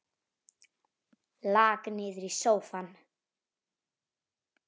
Lak niður í sófann.